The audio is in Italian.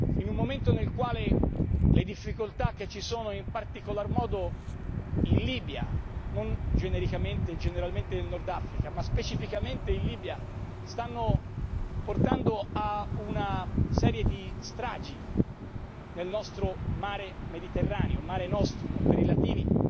In un momento nel quale le difficoltà che ci sono in particolar modo in Libia non genericamente e generalmente nel Nord Africa ma specificamente in Libia, stanno provocando una serie di stragi nel nostro Mare Mediterraneo, il Mare Nostrum dei latini,